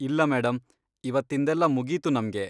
ಇಲ್ಲ ಮೇಡಂ, ಇವತ್ತಿಂದೆಲ್ಲ ಮುಗೀತು ನಮ್ಗೆ.